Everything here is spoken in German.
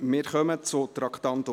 Wir kommen zu Traktandum 66: